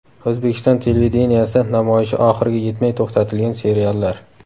O‘zbekiston televideniyesida namoyishi oxiriga yetmay to‘xtatilgan seriallar.